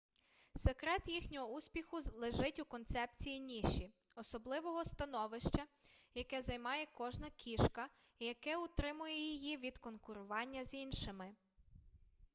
секрет їхнього успіху лежить у концепції ніші особливого становища яке займає кожна кішка і яке утримує її від конкурування з іншими